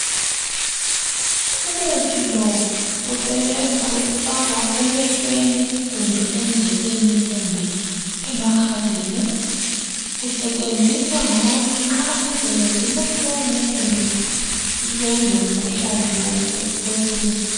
umuthi lo usebenza ukufakwa emehlweni kumbe endlebeni kumbe emakhaleni usetshenziswa ngabantu nxa indlebe zibuhlungu kumbe belomkhuhlane we flue